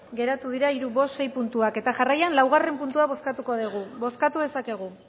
geratu dira hiru bost sei puntuak eta jarraian laugarrena puntua bozkatuko dugu bozkatu dezakegu